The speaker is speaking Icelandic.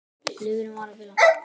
Lifrin var að bila.